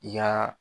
I ka